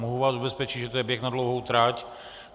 Mohu vás ubezpečit, že to je běh na dlouhou trať.